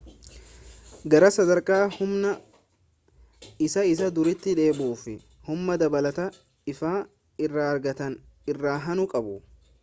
gara sadarka humna isaa isa duritti deebi'uuf humna dabalata ifaa irra argatan irra aanu qabu